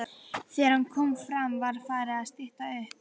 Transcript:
Þegar hann kom fram var farið að stytta upp.